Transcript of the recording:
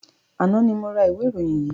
Àná ni mo ra ìwé ìròyìn yìí.